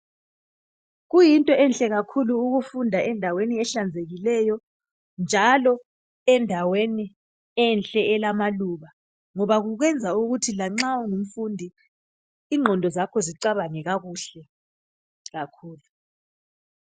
Kuyinto enhle kakhulu ukufunda endaweni ehlanzekikeyo njalo endaweni enhle elamaluba ngoba kukwenza ukuthi lanxa ungumfundi ingqondo zakho zicabangekakuhle kakhulu